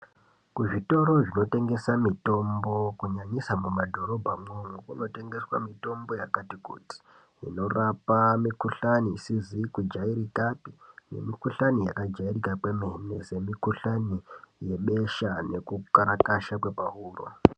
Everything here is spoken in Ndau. Kuzvitoro zvinotengesa mitombo kunyanyisa mumadhorobha mwoumwo kunotengeswa mutombo yakati kuti inorapa mikuhlane isizi kujairika nemikuhlane yakajairika kwemene semikuhlane yebesha neku karakasha kwepahuro.